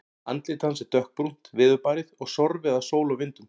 Andlit hans er dökkbrúnt, veðurbarið og sorfið af sól og vindum.